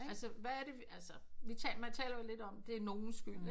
Altså hvad er det altså man taler vi taler om det er nogens skyld